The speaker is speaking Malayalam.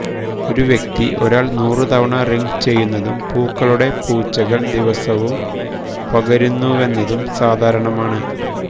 ഒരു വ്യക്തി ഒരാൾ നൂറ് തവണ റിംഗ് ചെയ്യുന്നതും പൂക്കളുടെ പൂച്ചകൾ ദിവസവും പകരുന്നുവെന്നതും സാധാരണമാണ്